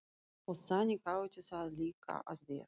Og þannig átti það líka að vera.